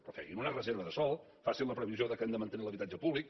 però facin una reserva de sòl facin la previsió que hem de mantenir l’habitatge públic